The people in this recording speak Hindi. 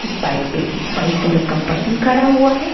एक बाइक पे एक व्हाइट कलर का पर्सन खड़ा हुआ है।